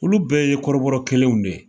Olu bɛɛ ye kɔrɔbɔrɔ kelenw de ye